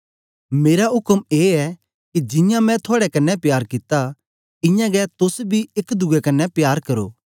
मेरा उक्म ए ऐ के जियां मैं थुआड़े कन्ने प्यार कित्ता इयां गै तोस बी एक दुए कन्ने प्यार करो